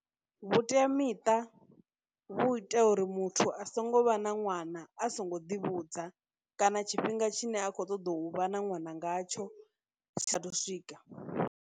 Vhuteamiṱa vhu ita uri muthu a songo vha na ṅwana a songo ḓivhudza kana tshifhinga tshine a khou ṱoḓa u vha na ṅwana ngatsho tshi sa thu swika.